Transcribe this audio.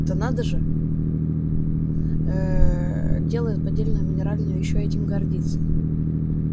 это надо же ээ делает поддельную минеральную и ещё этим гордится